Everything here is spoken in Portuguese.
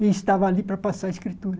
E estava ali para passar a escritura.